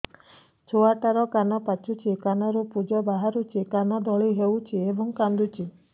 ଛୁଆ ଟା ର କାନ ପାଚୁଛି କାନରୁ ପୂଜ ବାହାରୁଛି କାନ ଦଳି ହେଉଛି ଏବଂ କାନ୍ଦୁଚି